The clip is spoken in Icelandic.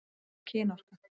Hvað er kynorka?